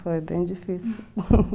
Foi bem difícil.